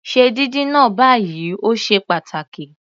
Se díndín náà báyìí, o ṣe pàtàkì.